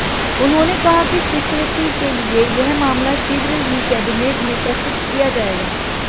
उन्होंने कहा कि स्वीकृति के लिए यह मामला शीघ्र ही कैबिनेट में प्रस्तुत किया जाएगा